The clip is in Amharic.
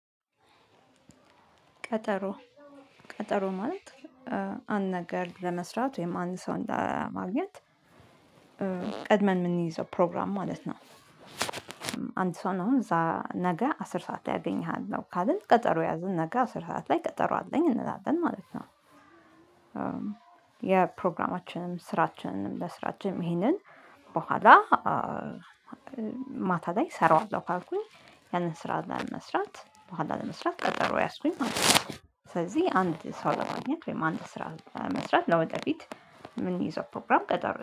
ቀጠሮ ቀጠሮ ማለት አንድ ነገር ለመስራት ወይም አንድ ሰውን ለማግኘት ቀድመን ምንይዘው ፕሮግራም ማለት ነው። አንድ ሰውን አሁን ምሳ ነገ አስር ሰዓት ላይ አገኝሃለሁ ካልን ቀጠሮ ያዝን ነገ አስር ሰዓት ላይ ቀጠሮ አለኝ እንላለን ማለት ነው። የፕሮግራማችንን ስራችንን ለስራችንም ይሄንን በኋላ ማታ ላይ እሰራዋለሁ ካልኩኝ ያንን ስራ ለመስራት በኋላ ለመስራት ቀጠሮ ያዝኩኝ ማለት ነው። ስለዚህ አንድ ሰው ለማግኘት ወይም አንድ ስራ ለመስራት ለወደፊት ምንይዘው ፕሮግራም ቀጠሮ